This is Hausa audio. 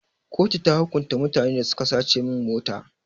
Kotu ta hukunta mutanen da suka sace min mota.